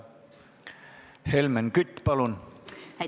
Helmen Kütt, palun!